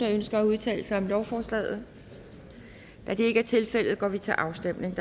der ønsker at udtale sig om lovforslaget da det ikke er tilfældet går vi til afstemning